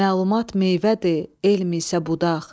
Məlumat meyvədir, elm isə budaq.